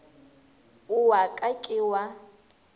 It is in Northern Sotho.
o wa ka ke wa